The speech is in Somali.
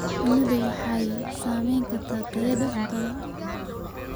Shinnidu waxay saamayn kartaa tayada cuntada.